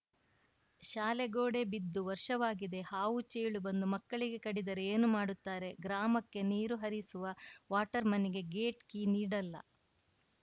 ಶಾಲೆ ಗೋಡೆ ಬಿದ್ದು ವರ್ಷವಾಗಿದೆ ಹಾವು ಚೇಳು ಬಂದು ಮಕ್ಕಳಿಗೆ ಕಡಿದರೆ ಏನು ಮಾಡುತ್ತಾರೆ ಗ್ರಾಮಕ್ಕೆ ನಿರು ಹರಿಸುವ ವಾಟರ್‌ಮನ್‌ಗೆ ಗೇಟ್‌ ಕೀ ನೀಡಲ್ಲ